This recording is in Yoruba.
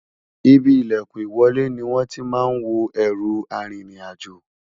Ìbí ìlèkùn ìwọlé ni wón tí má n wò erú àrin rìn àjọ